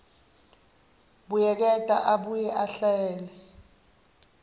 buyeketa abuye ahlele